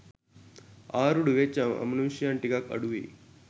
ආරූඪ වෙච්ච අමනුෂ්‍යයන් ටිකක් අඩුවෙයි